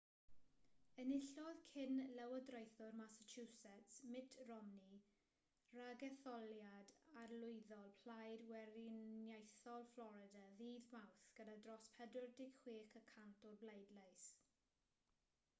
enillodd cyn-lywodraethwr massachusetts mitt romney ragetholiad arlywyddol plaid weriniaethol florida ddydd mawrth gyda dros 46 y cant o'r bleidlais